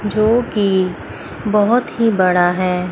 जो की बहुत ही बड़ा है।